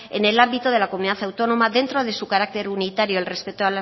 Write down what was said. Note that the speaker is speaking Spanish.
en el ámbito de la comunidad autónoma dentro de su carácter unitario al respecto